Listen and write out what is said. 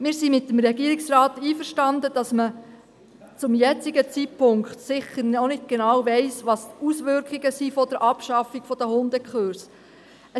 Wir sind mit dem Regierungsrat einverstanden, dass man zum jetzigen Zeitpunkt sicher noch nicht genau weiss, welche Auswirkungen die Abschaffung der Hundekurse hat.